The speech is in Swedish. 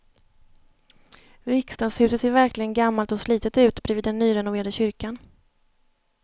Riksdagshuset ser verkligen gammalt och slitet ut bredvid den nyrenoverade kyrkan.